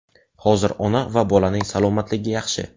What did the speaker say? Hozir ona va bolaning salomatligi yaxshi.